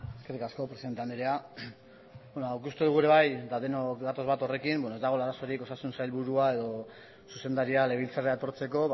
eskerrik asko presidente andrea ikusten dugu ere bai denok gatoz bat horrekin ez dagoela arazorik osasun sailburua edo zuzendaria legebiltzarrera etortzeko